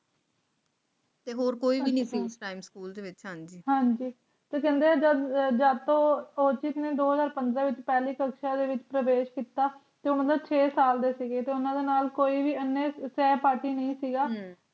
ਤੇ ਹੋਰ ਕੋਈ ਵੀ ਨਹੀਂ ਸੀ ਉਹ ਸਕੂਲ ਵਿਚ ਹਾਂ ਜੀ ਤੇ ਕਹਿੰਦੇ ਜਦੋਂ ਚਿਪਸ ਨੇ ਦੀ ਸੀ ਪੰਦਰਾਂ ਵਿੱਚ ਪਹਿਲੀ ਭਾਸ਼ਾ ਦੇ ਵਿਚ ਪ੍ਰਵੇਸ਼ ਕੀਤਾ ਅਤੇ ਤੇ ਉਹ ਛੇ ਸਾਲ ਦੇ ਸੀ ਉਹਨਾਂ ਨਾਲ ਕੋਈ ਵੀ ਹੈ ਪਾਰਟੀ ਨਹੀਂ ਸੀ